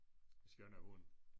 Skønne hund